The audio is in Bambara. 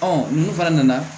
ninnu fana nana